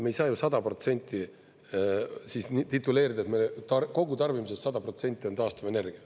Me ei saa ju 100 protsenti siis tituleerida, et me kogu tarbimisest 100% on taastuvenergia.